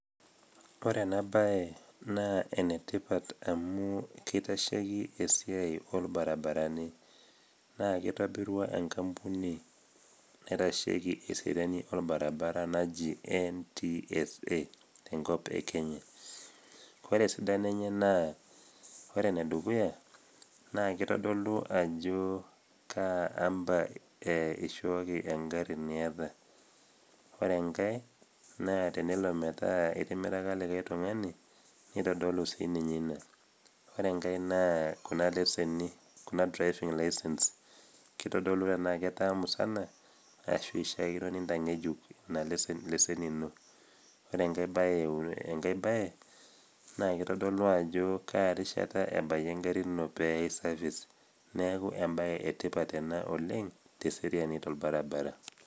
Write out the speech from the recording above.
Ore ena bae naa enetipat amu keitasheiki esiai oo ilbaribarani, naa keitobirua enkambuni naitasheiki esiai olbaribarani naji NTSA enkop e Kenya. Ore esidano enye naa ore enedukuya naa keitodolu ajo Kaa amba eishooki engari niata. Ore enkai naa tenelo metaa etimiraka olikai tung'ani neitodolu sininye Ina. Ore enkai naa Kuna leseni Kuna driving license keitodolu tanaa ketaa musana ashu neishaakino nitang'ejuk Ina leseni ino . Ore enkai bae naa keitodolu ajo Kaa rishata ebayie engari ino pee eyai service , neaku embae e tipat ena oleng' teseriani olbaribara.